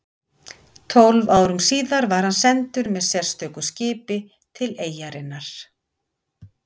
Tólf árum síðar var hann sendur með sérstöku skipi til eyjarinnar